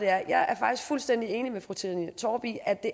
er jeg er faktisk fuldstændig enig med fru trine torp i at det